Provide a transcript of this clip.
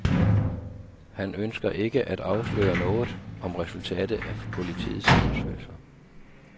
Han ønsker ikke at afsløre noget om resultatet af politiets undersøgelser.